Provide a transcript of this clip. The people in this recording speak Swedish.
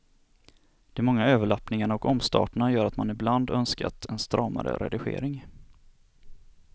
De många överlappningarna och omstarterna gör att man ibland önskat en stramare redigering.